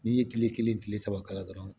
N'i ye kile kelen kile saba k'a la dɔrɔn